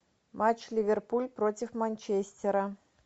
матч ливерпуль против манчестера